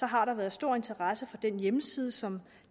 har der været stor interesse for den hjemmeside som